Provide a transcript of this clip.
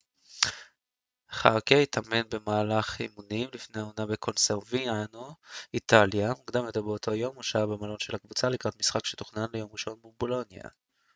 חארקה התאמן במהלך אימונים שלפני העונה בקוברסיאנו איטליה מוקדם יותר באותו יום הוא שהה במלון של הקבוצה לקראת משחק שתוכנן ליום ראשון מול בולוניה